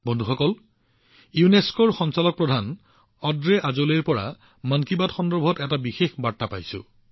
বন্ধুসকল এইবাৰ মই ইউনেস্কোৰ ডিজি অড্ৰে আজোলেৰ পৰা মন কী বাত সন্দৰ্ভত আন এটা বিশেষ বাৰ্তা পাইছো